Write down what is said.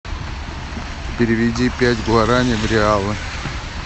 переведи пять гуарани в реалы